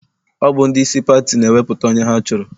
Ọ bụ ndị isi pati na-ewepụta onye ha chọrọ.